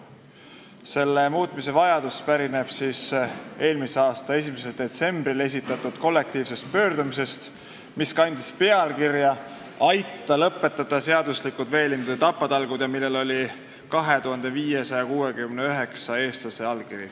Nende seaduste muutmise vajadus tuleneb eelmise aasta 1. detsembril esitatud kollektiivsest pöördumisest, mis kandis pealkirja "Aita lõpetada seaduslikud veelindude tapatalgud!", millel oli 2569 eestlase allkiri.